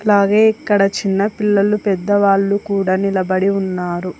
ఇట్లాగే ఇక్కడ చిన్న పిల్లలు పెద్దవాళ్లు కూడా నిలబడి ఉన్నారు.